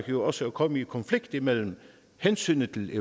jo også at komme i konflikt mellem hensynet til